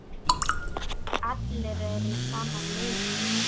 Allir eru í sama liði.